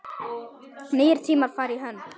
Nýir tímar fara í hönd